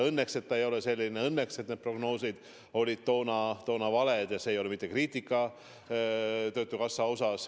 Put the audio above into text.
Õnneks need prognoosid olid toona valed, ja see ei ole mitte kriitika töötukassa pihta.